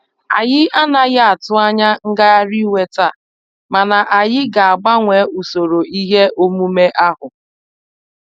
Anyị anaghị atụ anya ngagharị iwe taa, mana anyị ga-agbanwee usoro ihe omume ahu.